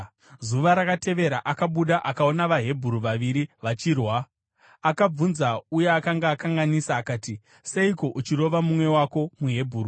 Zuva rakatevera, akabuda akaona vaHebheru vaviri vachirwa. Akabvunza uya akanga akanganisa akati, “Seiko uchirova mumwe wako muHebheru?”